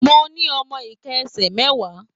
Mo ní ọmọ iká ẹsẹ mẹwa.